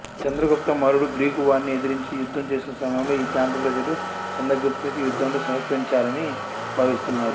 చంద్రగుప్త మౌర్యుడు గ్రీకువారిని ఎదిరించి యుద్ధం చేసిన సమయంలో ఈ ప్రాంత ప్రజలు చంద్రగుప్తునికి యుద్ధంలో సహకరించారని భావిస్తున్నారు